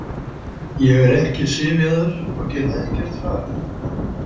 Ég er ekki syfjaður og get ekkert farið.